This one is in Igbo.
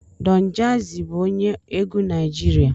Don jazzy bụ onye egwu Naijiria